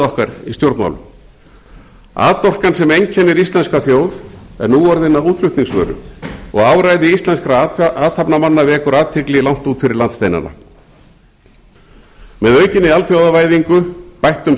okkar í stjórnmálum atorkan sem einkennir íslenska þjóð er nú orðin að útflutningsvöru og áræði íslenskra athafnamanna vekur athygli langt út fyrir landsteinanameð aukinni alþjóðavæðingu bættum